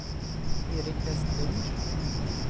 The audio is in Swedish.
Eric Westlund